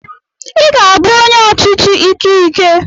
I ga-abụ onye ọchịchị ike ike.